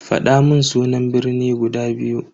Fadamun sunan birni guda biyu.